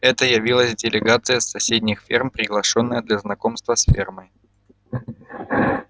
это явилась делегация с соседних ферм приглашённая для знакомства с фермой